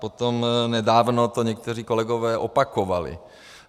Potom nedávno to někteří kolegové opakovali.